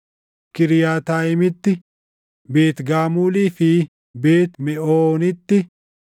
Kiriyaataayimitti, Beet Gaamulii fi Beet Meʼoonitti,